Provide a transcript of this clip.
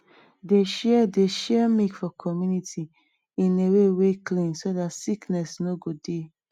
dey share dey share milk for community in a way wey clean so dat sickness no go dey